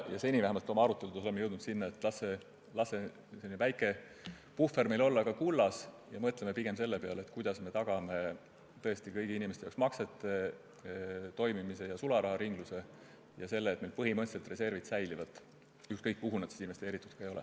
Seni oleme vähemalt oma aruteludes jõudnud seisukohale, et las see väike puhver olla siis kullas, ent mõtleme pigem selle peale, kuidas tagada kõigi inimeste jaoks maksete toimimine ja sularaharinglus ning see, et meil reservid põhimõtteliselt säiliksid, ükskõik kuhu need ka investeeritud ei ole.